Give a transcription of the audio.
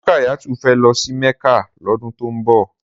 Rukayatu fè lò sí Mecca lòdún tó n bò